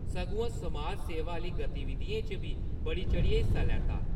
सगुआं समाज सेवा आह्ली गतिविधिएं च बी दी चढ़ियै हिस्सा लैता।